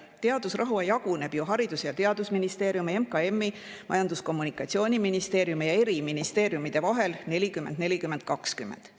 Teadusraha jaguneb ju Haridus- ja Teadusministeeriumi, Majandus- ja Kommunikatsiooniministeeriumi ja eri ministeeriumide vahel 40 : 40 : 20.